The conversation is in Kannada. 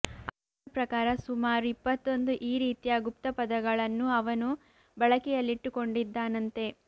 ಅವನ ಪ್ರಕಾರ ಸುಮಾರು ಇಪ್ಪತ್ತೊಂದು ಈ ರೀತಿಯ ಗುಪ್ತಪದಗಳನ್ನು ಅವನು ಬಳಕೆಯಲ್ಲಿಟ್ಟುಕೊಂಡಿದ್ದಾನಂತೆ